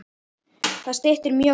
Það styttir mjög leiðir.